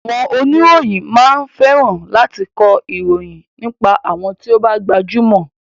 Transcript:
Àwọn oníròyìn máa ń fẹ́ran láti kọ ìròyìn nípa àwọn ti o bá jẹ́ gbajúmọ̀.